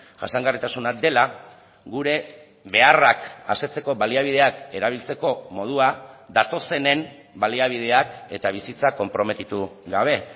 jasangarritasuna dela gure beharrak asetzeko baliabideak erabiltzeko modua datozenen baliabideak eta bizitza konprometitu gabe